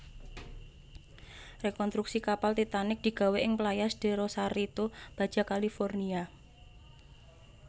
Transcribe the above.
Rekontruksi kapal Titanic digawé ing Playas de Rosarito Baja California